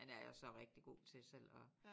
Men der er jeg jo så rigtig god til selv at